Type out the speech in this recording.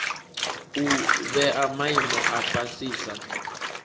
u vhea maimo a fhasisa